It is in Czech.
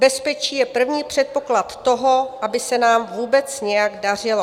Bezpečí je první předpoklad toho, aby se nám vůbec nějak dařilo."